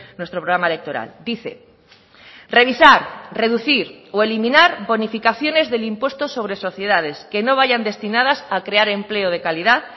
nuestro programa electoral dice revisar reducir o eliminar bonificaciones del impuesto sobre sociedades que no vayan destinadas a crear empleo de calidad